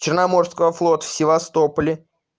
черноморского флота в севастополе